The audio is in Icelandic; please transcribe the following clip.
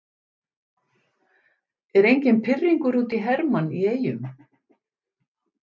Er enginn pirringur út í Hermann í Eyjum?